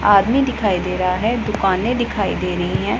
आदमी दिखाई दे रहा है दुकानें दिखाई दे रही हैं।